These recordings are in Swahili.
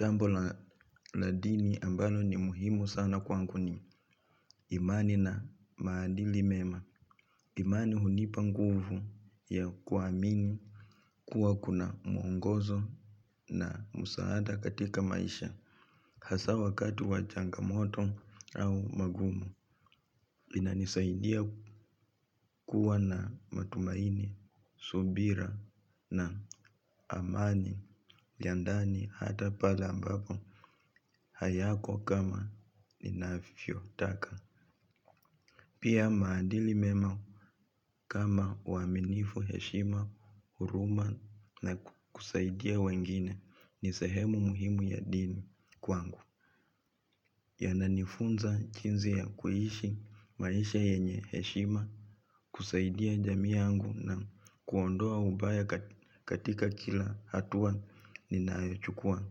Jambo la dini ambalo ni muhimu sana kwangu ni imani na maadili mema. Imani hunipa nguvu ya kuamini kuwa kuna mwongozo na msaada katika maisha. Hasa wakati wa changamoto au magumu. Inanisaidia kuwa na matumaini, subira na amani ya ndani hata pale ambapo hayako kama ninavyotaka. Pia maadili mema kama uaminifu, heshima, huruma na kusaidia wengine ni sehemu muhimu ya dini kwangu. Yananifunza jinsi ya kuishi maisha yenye heshima kusaidia jamii yangu na kuondoa ubaya katika kila hatua ninayochukua.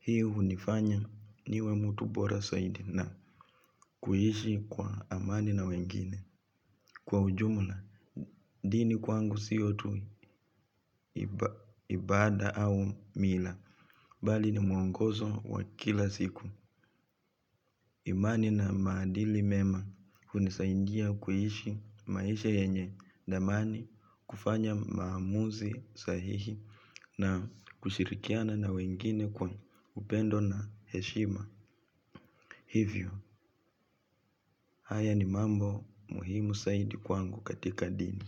Hii hunifanya niwe mtu bora zaidi na kuishi kwa amani na wengine kwa ujumla dini kwangu sio tu ibada au mila bali ni mwongozo wa kila siku. Imani na maadili mema hunisaidia kuishi maisha yenye thamani kufanya maamuzi sahihi na kushirikiana na wengine kwa upendo na heshima. Hivyo, haya ni mambo muhimu zaidi kwangu katika dini.